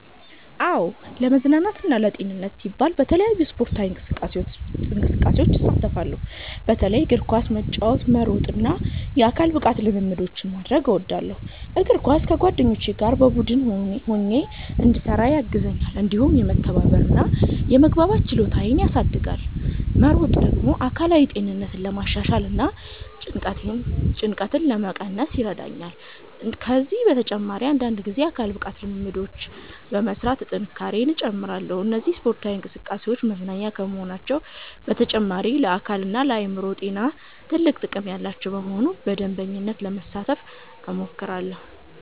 "አዎ፣ ለመዝናናትና ለጤንነቴ ሲባል በተለያዩ ስፖርታዊ እንቅስቃሴዎች እሳተፋለሁ። በተለይም እግር ኳስ መጫወት፣ መሮጥ እና የአካል ብቃት ልምምዶችን ማድረግ እወዳለሁ። እግር ኳስ ከጓደኞቼ ጋር በቡድን ሆኜ እንድሰራ ያግዘኛል፣ እንዲሁም የመተባበር እና የመግባባት ችሎታዬን ያሳድጋል። መሮጥ ደግሞ አካላዊ ጤንነቴን ለማሻሻል እና ጭንቀትን ለመቀነስ ይረዳኛል። ከዚህ በተጨማሪ አንዳንድ ጊዜ የአካል ብቃት ልምምዶችን በመሥራት ጥንካሬዬን እጨምራለሁ። እነዚህ ስፖርታዊ እንቅስቃሴዎች መዝናኛ ከመሆናቸው በተጨማሪ ለአካልና ለአእምሮ ጤና ትልቅ ጥቅም ያላቸው በመሆናቸው በመደበኛነት ለመሳተፍ እሞክራለሁ።"